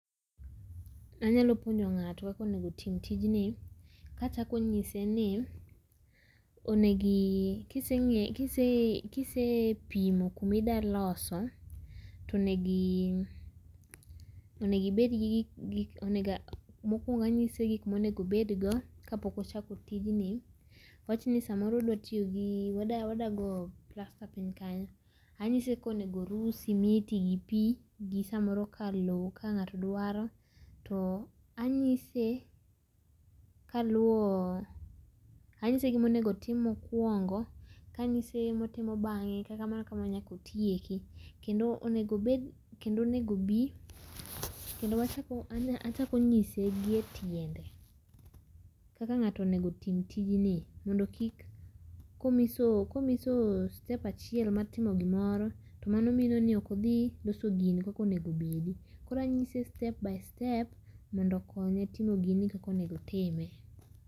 Anyalo puonjo ngato kaka onego timo tijni kachako nyiseni onegi kise nge kisepimo kama idwa loso, tonego ibed gi onego ibedgi, mokuongo anyise gik monego obed go kapok ochako tijni, awachni samoro odwa toyogi, odwa goyo plasta piny kanyo, anyiso kaka onego oruu simiti gi pii gi samoro lowo ka ngato dwaro to anyise kaluwo anyise gima onego otim mokuongo kanyise gima otimo bange, kamano kamano nyaka otieki. Kendo onego obed, kendo onego obii, kendo wachako, achako nyise gi e tiende kaka ngato onego otim tijni mondo kik, komiso, komiso step achiel martimo gimoro to mano mino ni ok odhi loso gini kaka onego obedi koro anyise step by step mondo okonye timo gini kakak onego otime